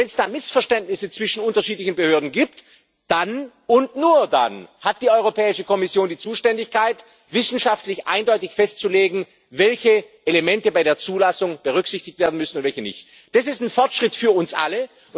Und wenn es da Missverständnisse zwischen unterschiedlichen Behörden gibt, dann und nur dann hat die Europäische Kommission die Zuständigkeit, wissenschaftlich eindeutig festzulegen, welche Elemente bei der Zulassung berücksichtigt werden müssen und welche nicht. Das ist ein Fortschritt für uns alle.